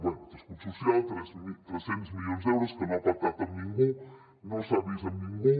bé d’escut social tres cents milions d’euros que no ha pactat amb ningú no s’ha vist amb ningú